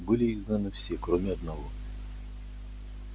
были изгнаны все кроме одного